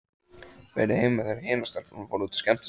Verið heima þegar hinar stelpurnar fóru út að skemmta sér.